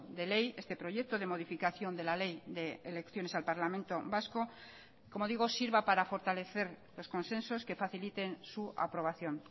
de ley este proyecto de modificación de la ley de elecciones al parlamento vasco como digo sirva para fortalecer los consensos que faciliten su aprobación